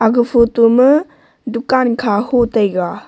ga photo ma dukan kha ho tega.